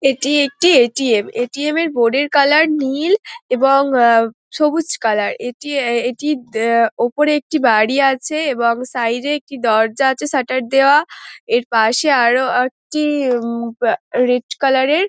এইটি একটি ATM. ATM. ATM. -এর board এর কালার নীল এবং আহ সবুজ কালার এইটি এইটি আহ উপর একটি বাড়ি আছে এবং সাইড -এ একটি দরজা আছে শাটার দেয়া এর পশে আরও একটি উম পা রেড কালার -এর--